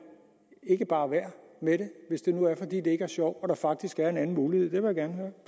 ikke bare være med det hvis det nu er fordi det ikke er sjovt og der faktisk er en anden mulighed det vil